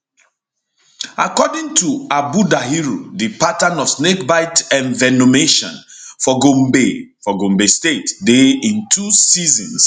according to habu dahiru di pattern of snakebite envenomation for gombe for gombe state dey in two seasons